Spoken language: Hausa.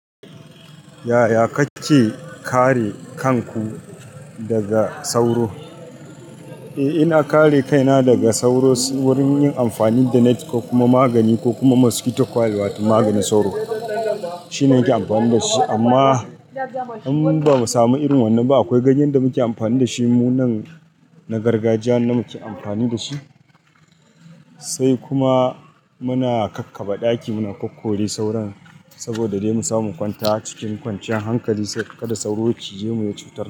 Yaya kake kare kanku daga sauro? Eh ina kare kaina daga sauro wurin yin amfani da net ko kuma magani ko kuma mosquito coil wato maganin sauro. Shine nake amfani da shi, amma in bamu samu irin wannan ba akwai ganyen da muke amfani da shi mu nan na gargajiya na muke amfani da shi. Sai kuma muna kakkaba ɗaki muna kokkore sauron saboda dai mu samu kwanta cikin kwanciyar hankali, sai kada sauro ya ci je mu ya cutar.